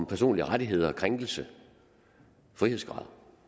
personlige rettigheder krænkelse og frihedsgrad